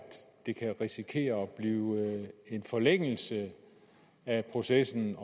det kan risikere at blive en forlængelse af processen